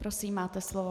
Prosím, máte slovo.